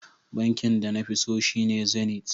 Bankin da nafi so shine Zenith.